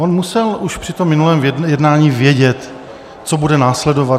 On musel už při tom minulém jednání vědět, co bude následovat.